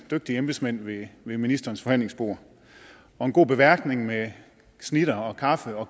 af dygtige embedsmænd ved ministerens forhandlingsbord og en god beværtning med snitter kaffe og